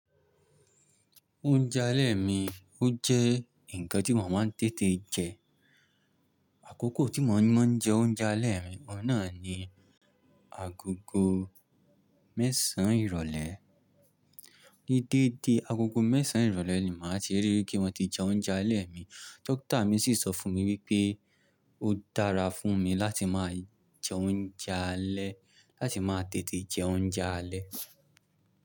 Oúnjẹ alẹ́ mi ó jẹ́ ǹkan tí mo máa ń tètè jẹ. Àkókò tí mo máa ń jẹ oúnjẹ alẹ́ mi, ọ̀un naà ni agogo mẹ́sàn-án ìrọ̀lẹ́. Ní déédé, agogo mẹ́sàn-án ìrọ̀lẹ́ ni màá ti rií pé mo ti jẹ oúnjẹ alẹ́ mi. Dókítà mi sì sọ fún mi wípé ó dára fún mi láti máa jẹ oúnjẹ alẹ́, láti máa tètè jẹ oúnjẹ alẹ́.